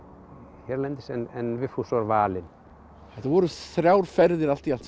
hérlendis en Vigfús var valinn þetta voru þrjár ferðir allt í allt sem